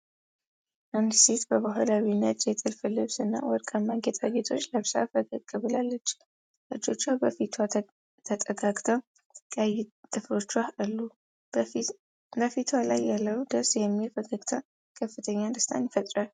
አንዲት ሴት በባህላዊ ነጭ የጥልፍ ልብስ እና ወርቃማ ጌጣጌጦች ለብሳ ፈገግ ብላለች። እጆቿ በፊቷ ተጠጋግተው ቀይ ጥፍሮቿ አሉ። በፊቷ ላይ ያለው ደስ የሚል ፈገግታ ከፍተኛ ደስታን ይፈጥራል።